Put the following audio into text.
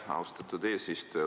Aitäh, austatud eesistuja!